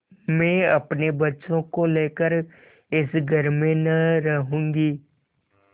मैं अपने बच्चों को लेकर इस घर में न रहूँगी